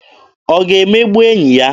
Ọ ga-emegbu enyi ya?